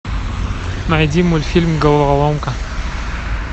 найди мультфильм головоломка